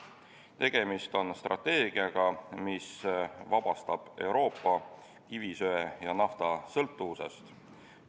Tegemist on strateegiaga, mis vabastab Euroopa kivisöe- ja naftasõltuvusest.